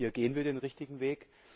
Hier gehen wir den richtigen Weg.